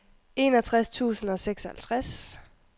enogtres tusind og seksoghalvtreds